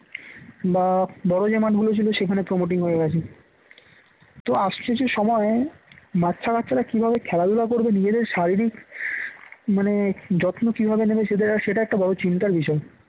বা বড় যে মাঠগুলো ছিল সেখানে promoting হয়ে গেছে, তো আসছে যে সময় বাচ্চারা কাচ্চারা কিভাবে যে খেলাধুলা করবে নিজেদের শারীরিক মানে যত্ন কিভাবে নেবে সেটা সেটা একটা বড় চিন্তার বিষয়